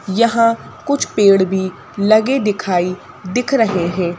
यहां कुछ पेड़ भी लगे दिखाई दिख रहे हैं।